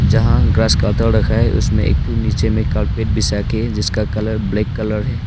जहां grass cutter रखा है उसमें एक नीचे में कारपेट बिछा के जिसका कलर ब्लैक कलर है।